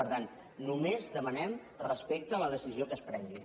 per tant només demanem respecte a la decisió que es prengui